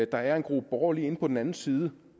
der er en gruppe borgere lige inde på den anden side